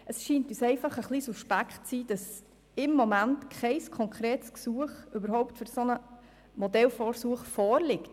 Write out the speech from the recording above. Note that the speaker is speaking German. Es scheint uns einfach ein wenig suspekt zu sein, dass im Moment kein konkretes Gesuch um die Finanzierung eines solchen Modellversuchs vorliegt.